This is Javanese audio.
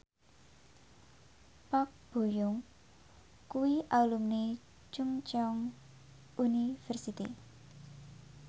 Park Bo Yung kuwi alumni Chungceong University